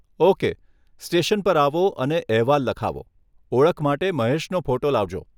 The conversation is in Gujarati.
ઓકે, સ્ટેશન પર આવો અને અહેવાલ લખાવો, ઓળખ માટે મહેશનો ફોટો લાવજો.